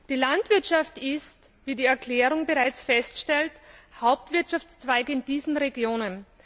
Die Landwirtschaft ist, wie in der Erklärung bereits festgestellt wird, Hauptwirtschaftszweig in diesen Regionen.